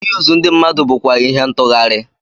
Iyuzu ndị mmadụ bụkwa ihe ntughari.